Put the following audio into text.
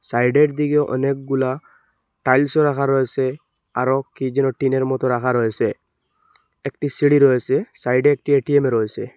সাইডের দিকে অনেকগুলা টাইলসও রাখা রয়েসে আরো কি যেন টিনের মতো রাখা রয়েসে একটি সিঁড়ি রয়েসে সাইডে একটি এ_টি_এম রয়েসে।